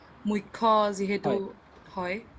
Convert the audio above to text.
মুখ্য যিহেতু হয়